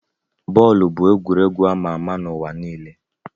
Bọọlụ bụ egwuregwu ama ama n'ụwa niile.